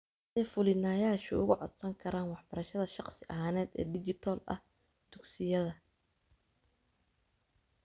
Sidee Fulinayaashu ugu Codsan karaan Waxbarashada Shakhsi ahaaneed ee Dijital ah Dugsiyada?